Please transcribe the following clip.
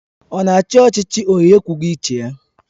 Ọ na-achị ọchịchị onye ekwughị uche ya?